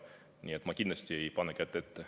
Nii et ma kindlasti ei pane kätt ette.